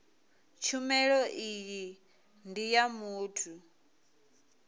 tshumelo iyi ndi ya muthu